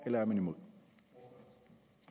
eller er man imod